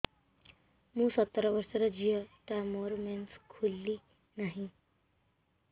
ମୁ ସତର ବର୍ଷର ଝିଅ ଟା ମୋର ମେନ୍ସେସ ଖୁଲି ନାହିଁ